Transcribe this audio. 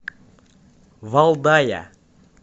валдая